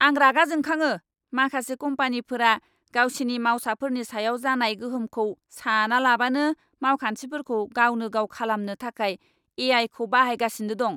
आं रागा जोंखाङो, माखासे कम्पानिफोरा गावसिनि मावसाफोरनि सायाव जानाय गोहोमखौ सानालाबानो मावखान्थिफोरखौ गावनो गाव खालामनो थाखाय ए.आइ.खौ बाहायगासिनो दं।